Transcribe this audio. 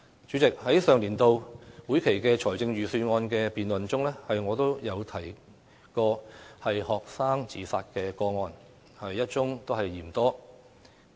主席，在上年度會期的財政預算案辯論中，我曾提及學生自殺個案一宗也嫌多。